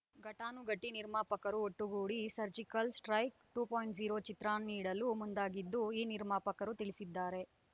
ಘಟಾನುಘಟಿ ನಿರ್ಮಾಪಕರು ಒಟ್ಟುಗೂಡಿ ಸರ್ಜಿಕಲ್ ಸ್ಟ್ರೈಕ್ ಎರಡು ಪಾಯಿಂಟ್ ಝೀರೋ ಚಿತ್ರ ನೀಡಲು ಮುಂದಾಗಿದ್ದು ಈ ನಿರ್ಮಾಪಕರು ತಿಳಿಸಿದ್ದಾರೆ